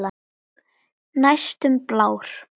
Næstum blár.